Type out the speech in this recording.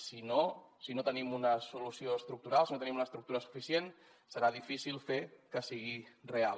si no si no tenim una solució estructural si no tenim una estructura suficient serà difícil fer que sigui real